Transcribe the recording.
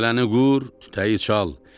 Cələni qur, tütəyi çal.